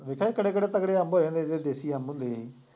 ਦੇਖਿਆ ਕਿੱਡੇ ਕਿੱਡੇ ਤਕੜੇ ਅੰਬ ਹੋ ਜਾਂਦੇ ਸੀ ਜਿਹੜੇ ਦੇਸੀ ਅੰਬ ਹੁੰਦੇ ਸੀ,